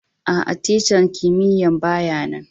Aa, tican kimiyya'n baya nan.